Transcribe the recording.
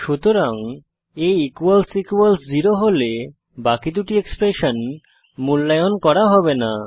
সুতরাং a zero হলে বাকি দুটি এক্সপ্রেশন মূল্যায়ন করা হবে না